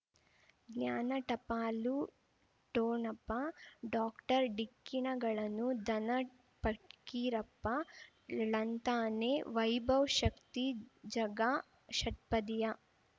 ಜ್ಞಾನ ಟಪಾಲು ಠೊಣಪ ಡಾಕ್ಟರ್ ಢಿಕ್ಕಿ ಣಗಳನು ಧನ ಫಕೀರಪ್ಪ ಳಂತಾನೆ ವೈಭವ್ ಶಕ್ತಿ ಝಗಾ ಷಟ್ಪದಿಯ